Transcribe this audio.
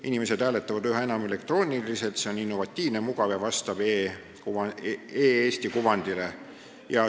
Inimesed hääletavad üha enam elektrooniliselt, see on innovatiivne, mugav ja vastab e-Eesti kuvandile.